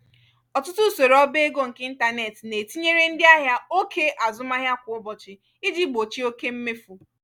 ọtụtụ usoro obaego nke ịntanetị na-etinyere ndị ahịa òkè azụmahịa kwa ụbọchị iji gbochie oke mmefu.